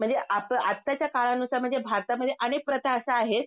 म्हणजे आत आत्ताच्या काळानुसार म्हणजे भारतमध्ये अनेक प्रथा अश्या आहेत